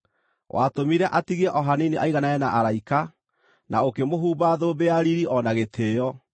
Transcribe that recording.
Watũmire atigie o hanini aiganane na araika, na ũkĩmũhumba thũmbĩ ya riiri o na gĩtĩĩo,